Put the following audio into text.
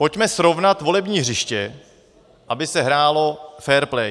Pojďme srovnat volební hřiště, aby se hrálo fair play.